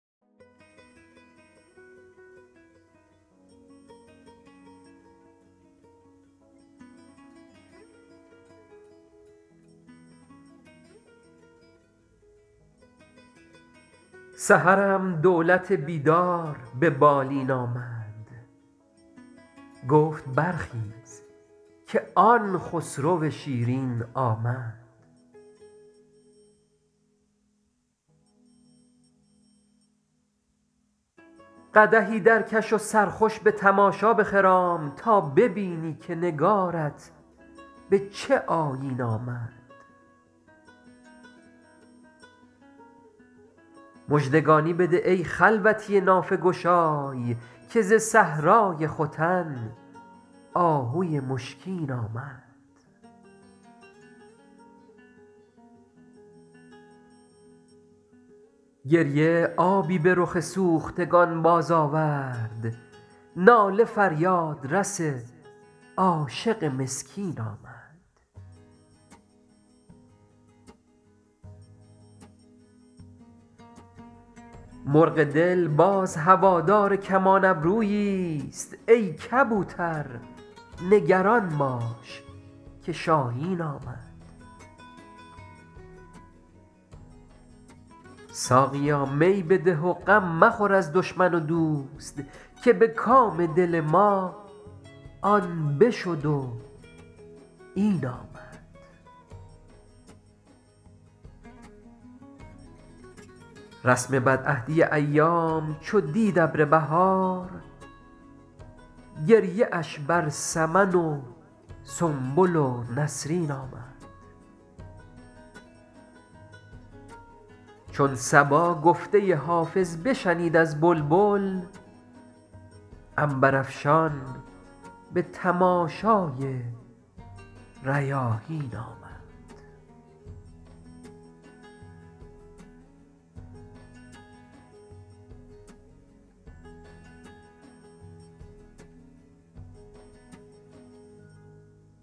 سحرم دولت بیدار به بالین آمد گفت برخیز که آن خسرو شیرین آمد قدحی درکش و سرخوش به تماشا بخرام تا ببینی که نگارت به چه آیین آمد مژدگانی بده ای خلوتی نافه گشای که ز صحرای ختن آهوی مشکین آمد گریه آبی به رخ سوختگان بازآورد ناله فریادرس عاشق مسکین آمد مرغ دل باز هوادار کمان ابروییست ای کبوتر نگران باش که شاهین آمد ساقیا می بده و غم مخور از دشمن و دوست که به کام دل ما آن بشد و این آمد رسم بدعهدی ایام چو دید ابر بهار گریه اش بر سمن و سنبل و نسرین آمد چون صبا گفته حافظ بشنید از بلبل عنبرافشان به تماشای ریاحین آمد